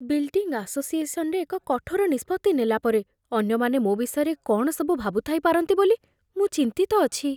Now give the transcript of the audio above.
Building ଆସୋସିଏସନରେ ଏକ କଠୋର ନିଷ୍ପତ୍ତି ନେଲା ପରେ, ଅନ୍ୟମାନେ ମୋ ବିଷୟରେ କ'ଣ ସବୁ ଭାବୁଥାଇପାରନ୍ତି ବୋଲି ମୁଁ ଚିନ୍ତିତ ଅଛି।